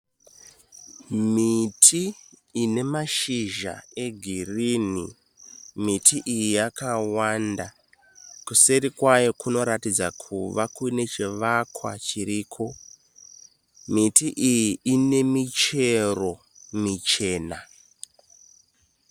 Miti ine mashizha egerinhi. Miti iyi yakawanda. Kuseri kwayo kunoratidza kuva nechivakwa chiriko. Miti iyi ine michero michena.